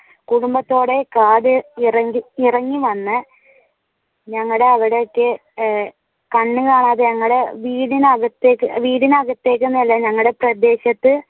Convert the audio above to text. കുടുംബത്തോടെ കാട് ഇറങഇറങ്ങി വന്ന് ഞങ്ങളുടെ അവിടെ ഒക്കെ കന്നുകാലികളെ വീടിനകത്തേക്ക് വീടനകത്തേക്കൊന്നും അല്ല ഞങ്ങളുടെ പ്രദേശത്തു